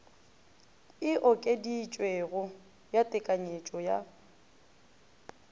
e okeditšwego ya tekanyetšo ya